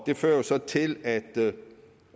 det fører jo så til at det